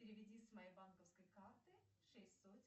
переведи с моей банковской карты шесть сотен